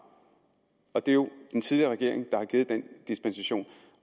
og det er jo den tidligere regering der har givet den dispensation